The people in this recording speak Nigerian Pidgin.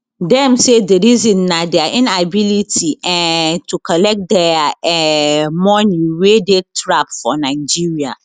dem say di reason na dia inability um to collect dia um money wey dey trap for nigeria